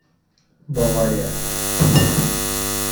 бавария